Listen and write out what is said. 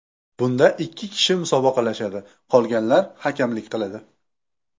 Bunda ikki kishi musobaqalashadi, qolganlar hakamlik qiladi.